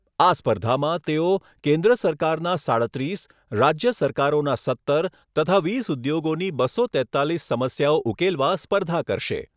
આ સ્પર્ધામાં તેઓ કેન્દ્ર સરકારના સાડત્રીસ, રાજ્ય સરકારોના સત્તર તથા વીસ ઉદ્યોગોની બસો તેત્તાલીસ સમસ્યાઓ ઉકેલવા સ્પર્ધા કરશે.